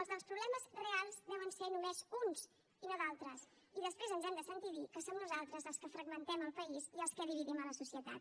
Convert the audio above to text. els dels problemes reals deuen ser només uns i no d’altres i després ens hem de sentir dir que som nosaltres els que fragmentem el país i els que dividim la societat